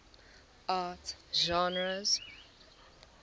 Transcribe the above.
art genres